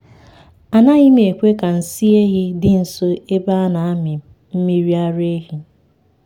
anaghị m ekwe ka nsị ehi dị nso ebe a a na-amị mmiri ara ehi.